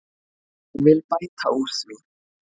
Ég vil bæta úr því.